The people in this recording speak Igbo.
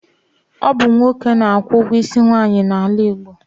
Ọ bụ nwoke na-akwụ ọgwụ isi nwaanyị n'ala Igbo.